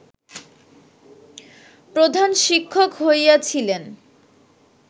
প্রধান শিক্ষিক হইয়াছিলেন